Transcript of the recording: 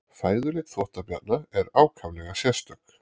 fæðuleit þvottabjarna er ákaflega sérstök